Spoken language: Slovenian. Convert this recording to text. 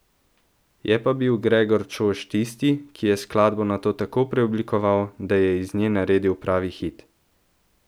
Je pa bil Gregor Čož tisti, ki je skladbo nato tako preoblikoval, da je iz nje naredil pravi hit.